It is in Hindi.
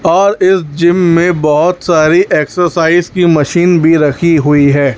और इस जिम में बहुत सारी एक्सरसाइज की मशीन भी रखी हुई है।